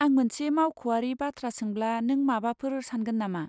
आं मोनसे मावख'आरि बाथ्रा सोंब्ला नों माबाफोर सानगोन नामा?